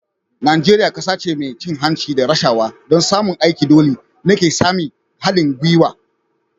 Najeriya kasa ce mai cin hanci da rashawa. don samun aiki dole ne ka sami haɗin gwiwa